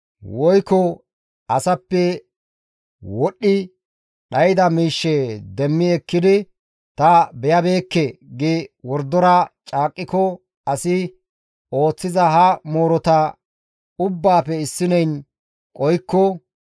woykko asappe wodhdhi dhayda miishshe demmi ekkidi ta beyabeekke gi wordora caaqqiko asi ooththiza ha moorota ubbaafe issineyn qohikko,